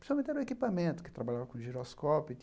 Principalmente era o equipamento, que trabalhava com giroscópio.